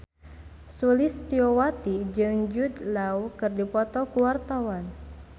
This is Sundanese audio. Sulistyowati jeung Jude Law keur dipoto ku wartawan